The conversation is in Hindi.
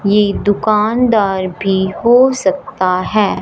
ये दुकानदार भी हो सकता हैं।